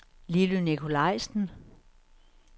Lilly Nicolaisen